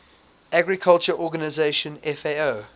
agriculture organization fao